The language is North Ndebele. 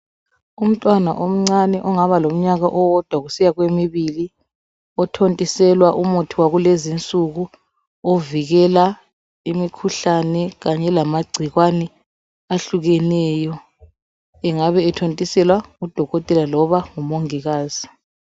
Umntwana omncane ongaba lomnyaka owodwa kusiya kwemibili othontiselwa umuthi wakulezi insuku ovikela imikhuhlane kanye lamagcikwane ahlukeneyo angabe ethontiselwa ngudokotela loba ngu mongikazi